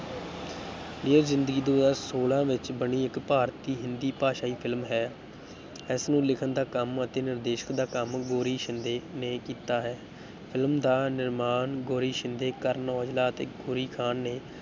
dear Zindagi ਦੋ ਹਜ਼ਾਰ ਛੋਲਾਂ ਵਿੱਚ ਬਣੀ ਇੱਕ ਭਾਰਤੀ ਹਿੰਦੀ-ਭਾਸ਼ਾਈ film ਹੈ, ਇਸਨੂੰ ਲਿਖਣ ਦਾ ਕੰਮ ਅਤੇ ਨਿਰਦੇਸ਼ਨ ਦਾ ਕੰਮ ਗੌਰੀ ਸ਼ਿੰਦੇ ਨੇ ਕੀਤਾ ਹੈ film ਦਾ ਨਿਰਮਾਣ ਗੌਰੀ ਸ਼ਿੰਦੇ, ਕਰਨ ਔਜਲਾ ਅਤੇ ਗੌਰੀ ਖ਼ਾਨ ਨੇ